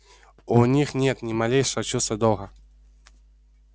у них нет ни малейшего чувства долга